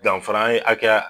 Danfara an ye hakɛya